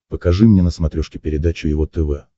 покажи мне на смотрешке передачу его тв